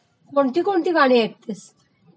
कोणकोणती गाणी ऐकतेस